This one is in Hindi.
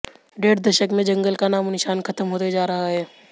डेढ़ दशक में जंगल का नामों निशान खत्म होते जा रहा है